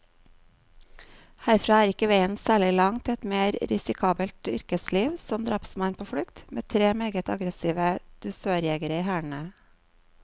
Herfra er ikke veien særlig lang til et mer risikabelt yrkesliv, som drapsmann på flukt, med tre meget aggressive dusørjegere i hælene.